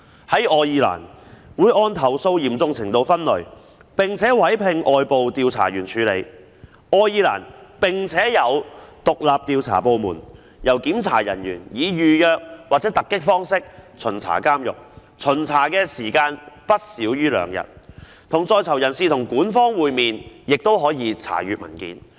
在愛爾蘭，會按投訴嚴重程度分類，並委聘外部調查員處理；愛爾蘭並設有獨立調查部門，由檢查人員以預約或突擊方式巡查監獄，巡查時間不少於2天，與在囚人士及管方會面，亦可以查閱文件。